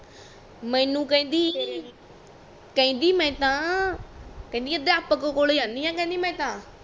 ਮੈਨੂੰ ਕਹਿੰਦੀ ਮੈਂ ਤਾ ਕਹਿੰਦੀ ਅਧਿਆਪਕ ਕੋਲ ਜਾਂਦੀ ਆ ਕਹਿੰਦੀ ਮੈਂ ਤਾ